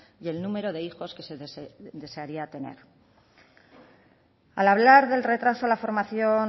y el número de hijos que se desearía tener al hablar del retraso